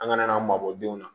An kana n'an mabɔ denw na